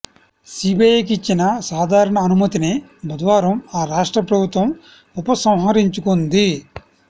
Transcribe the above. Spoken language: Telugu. సీబీఐకి ఇచ్చిన సాధారణ అనుమతిని బుధవారం ఆ రాష్ట్ర ప్రభుత్వం ఉపసంహరించుకుంది